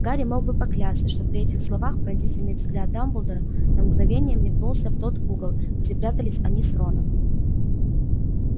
гарри мог бы поклясться что при этих словах пронзительный взгляд дамблдора на мгновение метнулся в тот угол где прятались они с роном